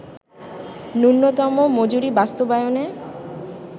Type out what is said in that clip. ন্যূনতম মজুরি বাস্তবায়নে